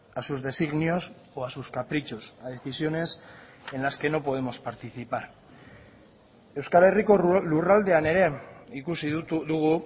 a sus designios o a sus caprichos a decisiones en las que no podemos participar euskal herriko lurraldean ere ikusi dugu